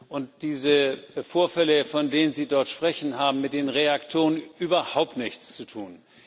Und diese Vorfälle, von denen Sie dort sprechen, haben mit den Reaktoren überhaupt nichts zu tun.